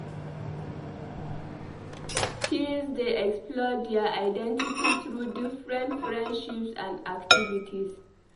Teens dey explore dier identity through different friendships and activities.